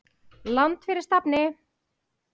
Land fyrir stafni!